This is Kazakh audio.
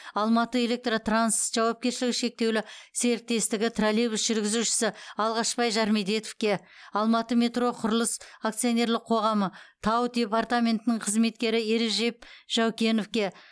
алматыэлектротранс жауапкершілігі шектеулі серіктестігі троллейбус жүргізушісі алғашбай жармедетовке алматыметроқұрылыс акционерлік қоғамы тау департаментінің қызметкері ережеп жаукеновке